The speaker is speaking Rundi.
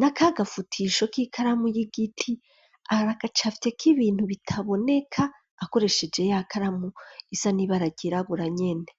na ka gafutisho, k'ikaramu y'igiti, aragacafyeko ibintu, bitaboneka, akoresheje ya karamu, isa n'ibara ryirabura nyene.